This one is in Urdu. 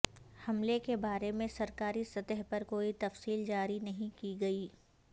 حملے کے بارے میں سرکاری سطح پر کوئی تفصیل جاری نہیں کی گئی